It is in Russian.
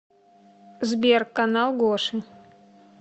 сбер канал гоши